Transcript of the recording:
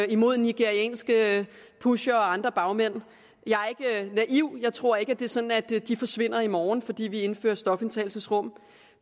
imod nigerianske pushere og andre bagmænd jeg er ikke naiv jeg tror ikke at det er sådan at de forsvinder i morgen fordi vi indfører stofindtagelsesrum